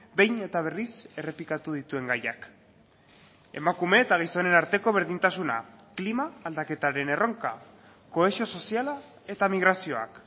behin eta berriz errepikatu dituen gaiak emakume eta gizonen arteko berdintasuna klima aldaketaren erronka kohesio soziala eta migrazioak